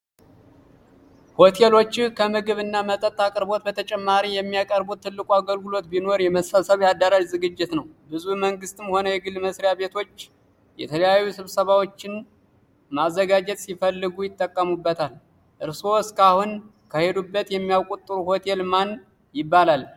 ሆቴሎችህ ከምግብ እና መጠጥ አቅርቦት በተጨማሪ የሚያቀርቡት ትልቁ አገልግሎት ቢኖር የመሰብሰቢያ አዳራሽ ዝግጅት ነው። ብዙ የመንግስትም ሆነ የግል መስሪያ ቤቶች የተለያዩ ስብሰባዎችን ማዘጋጀት ሲፈልጉ ይጠቀሙታል። እርሶ እስካሁን ከሄዱበት የሚያቁት ጥሩ ሆቴል ማን ይባላል?